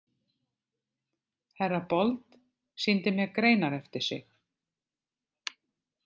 Herra Bold sýndi mér greinar eftir sig.